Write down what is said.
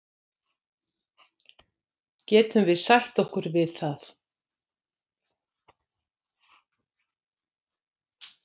Getum við sætt okkur við það?